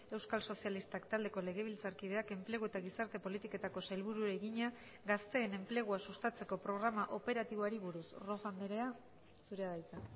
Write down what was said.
euskal sozialistak taldeko legebiltzarkideak enplegu eta gizarte politiketako sailburuari egina gazteen enplegua sustatzeko programa operatiboari buruz rojo andrea zurea da hitza